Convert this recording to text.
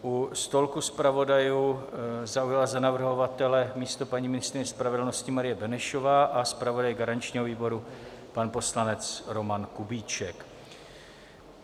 U stolku zpravodajů zaujala za navrhovatele místo paní ministryně spravedlnosti Marie Benešová a zpravodaj garančního výboru pan poslanec Roman Kubíček.